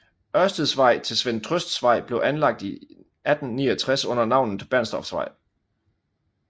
Ørsteds Vej til Svend Trøsts vej blev anlagt i 1869 under navnet Bernstorffsvej